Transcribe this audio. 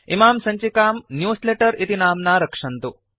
इमां सञ्चिकां न्यूजलेटर इति नाम्ना रक्षन्तु